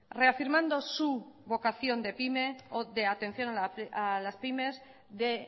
reafirmando su vocación de pyme o de atención a las pymes de